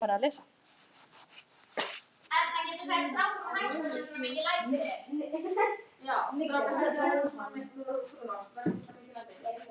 Það gengur ekki hér.